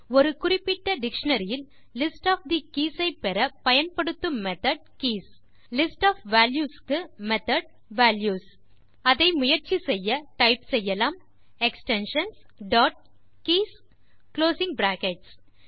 ஒரு குறிப்பிட்ட டிக்ஷனரி இல் லிஸ்ட் ஒஃப் தே கீஸ் ஐ பெற பயன்படுத்தும் method keys list of values க்கு மெத்தோட் values அதை முயற்சி செய்ய டைப் செய்யலாம் extensions dot keys closing brackets